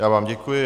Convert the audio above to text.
Já vám děkuji.